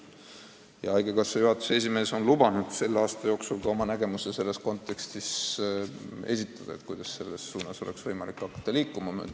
Haigekassa juhatuse esimees on lubanud selle aasta jooksul esitada oma nägemuse, kuidas oleks võimalik hakata selles suunas liikuma.